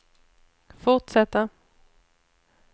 fortsätta